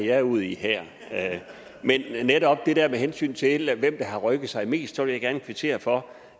er ude i her men netop med hensyn til med hvem der har rykket sig mest vil jeg gerne kvittere for